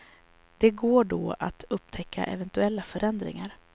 Det går då att upptäcka eventuella förändringar.